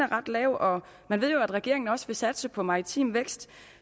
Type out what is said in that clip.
ret lav og vi ved at regeringen også vil satse på maritim vækst